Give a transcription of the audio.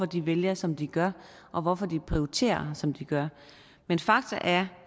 de vælger som de gør og hvorfor de prioriterer som de gør men fakta er